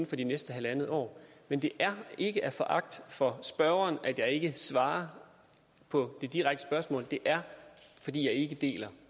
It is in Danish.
for det næste halvandet år men det er ikke af foragt for spørgeren at jeg ikke svarer på det direkte spørgsmål det er fordi jeg ikke deler